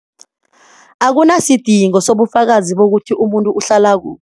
Akunasidingo sobufakazi bokuthi umuntu uhlala kuphi.